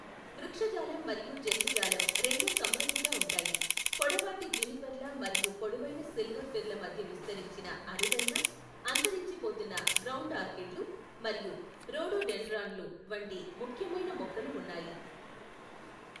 వృక్షజాలం మరియు జంతుజాలం రెండూ సమృద్ధిగా ఉంటాయి, పొడవాటి జునిపెర్ల మరియు పొడవైన సిల్వర్ ఫిర్ల మధ్య విస్తరించిన అరుదైన, అంతరించిపోతున్న గ్రౌండ్ ఆర్కిడ్లు మరియు రోడోడెండ్రాన్లు వంటి ముఖ్యమైన మొక్కలు ఉన్నాయి.